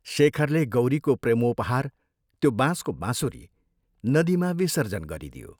शेखरले गौरीको प्रेमोपहार त्यो बाँसको बाँसुरी नदीमा विसर्जन गरिदियो।